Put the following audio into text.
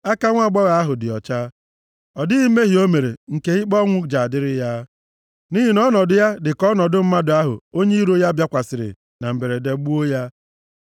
Aka nwaagbọghọ ahụ dị ọcha, ọ dịghị mmehie o mere nke ikpe ọnwụ ji adịrị ya, nʼihi na ọnọdụ ya dị ka ọnọdụ mmadụ ahụ onye iro ya bịakwasịrị na mberede gbuo ya.